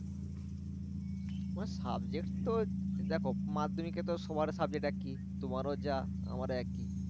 আমার subject তো দেখো মাধ্যমিকে তো সবার subject একি, তোমার ও যা আমারও একি